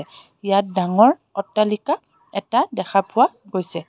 ইয়াত ডাঙৰ অট্টালিকা এটা দেখা পোৱা গৈছে.